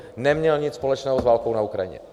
Neměl nic společného s válkou na Ukrajině.